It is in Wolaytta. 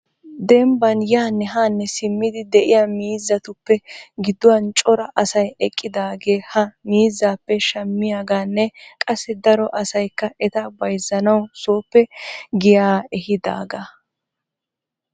Dembban yaanne haanne simmidi de'iyaa miizzaruppe gidduwan cora asay eqqidaagee ha miizzappe shammiyaaganne qassi daro asaykka eta bayzzanaw sooppe giyaa ehiidaara.